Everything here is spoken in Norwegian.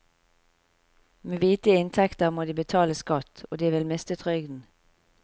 Med hvite inntekter må de betale skatt, og de vil miste trygden.